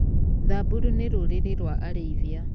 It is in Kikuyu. Samburu nĩ rũrĩrĩ rwa arĩithia.